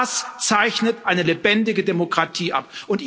Aber auch das zeichnet eine lebendige Demokratie aus.